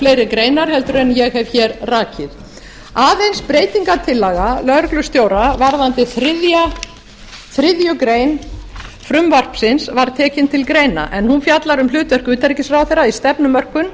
fleiri greinar heldur en ég hef rakið aðeins breytingartillaga lögreglustjóra varðandi þriðju greinar frumvarpsins var tekin til greina en hún fjallar um hlutverk utanríkisráðherra í stefnumörkun